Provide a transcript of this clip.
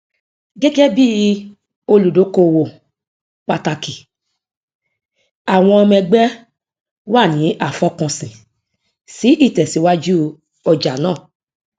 gẹgẹ bí olùdókówó pàtàkì àwọn ọmọẹgbẹ wa ní àfọkànsìn sí ìtẹsíwájú ọjà náà